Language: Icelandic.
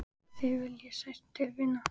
Þig vil ég sárt til vinna.